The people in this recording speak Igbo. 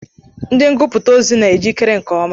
Ndị ngụputa ozi na ejikere nke ọma.